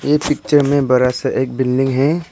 ये पिक्चर में बड़ा सा एक बिल्डिंग है।